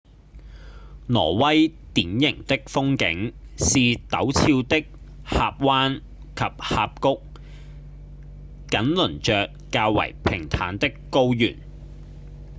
挪威典型的風景是陡峭的峽灣及峽谷緊鄰著較為平坦的高原